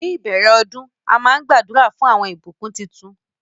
Ní ìbèrè òdún àmà n gbàdúrà fún awọn ìbùkún títún